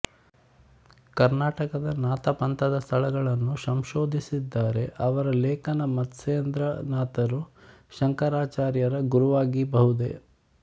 ಕರ್ನಾಟಕದ ನಾಥ ಪಂಥದ ಸ್ಥಳಗಳನ್ನು ಸಂಶೋಧಿಸಿದ್ದಾರೆ ಅವರ ಲೇಖನ ಮತ್ಸೇಂದ್ರನಾಥರು ಶಂಕರಾಚಾರ್ಯರ ಗುರವಾಗಿಬಹುದೇ